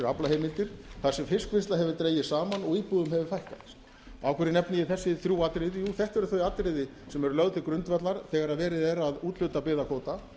aflaheimildir þar sem fiskvinnsla hefur dregist saman og íbúum hefur fækkað af hverju nefni ég þessi þrjú atriði jú þetta eru þau atriði sem eru lögð til grundvallar þegar verið er að úthluta byggðakvóta